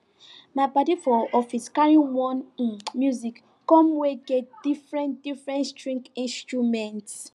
my padi for office carry one um music come wey get different different string instruments